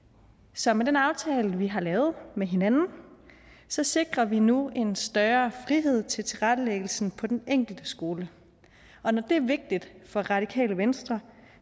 så med den aftale vi har lavet med hinanden så sikrer vi nu en større frihed til tilrettelæggelsen på den enkelte skole og når det er vigtigt for radikale venstre